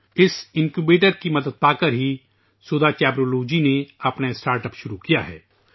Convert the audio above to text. اس incubator کی مدد حاصل کرنے کے بعد ہی سودھا چیبرولو جی نے اپنا اسٹارٹ اپ شروع کیا ہے